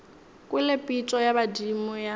kwele pitšo ya badimo ya